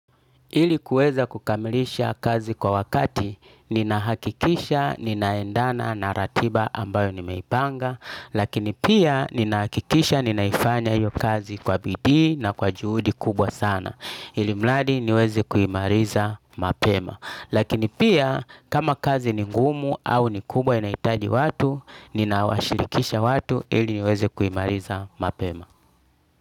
Ilikuweza kukamilisha kazi kwa wakati ninahakikisha ninaendana na ratiba ambayo nimeipanga Lakini pia ninahakikisha ninaifanya iyo kazi kwa bidihi na kwa juhudi kubwa sana Ilimladi niweze kuimaliza mapema Lakini pia kama kazi ni ngumu au ni kubwa inahitaji watu Ninawashirikisha watu ili niweze kuimaliza mapema.